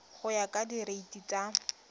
go ya ka direiti tsa